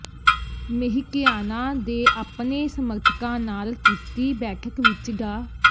ਮੇਹਟੀਆਣਾ ਦੇ ਆਪਣੇ ਸਮਰਥਕਾਂ ਨਾਲ ਕੀਤੀ ਬੈਠਕ ਵਿਚ ਡਾ